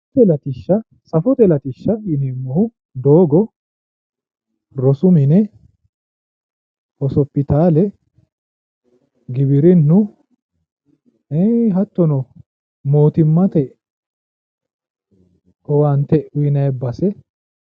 Safote latishsha. Safote latishsha yineemmohu doogo, rosu mine ,hospitaale, giwirinnu hattono mootimma owaante uyinanni baseeti